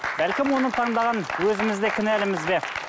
бәлкім оны таңдаған өзіміз де кінәліміз бе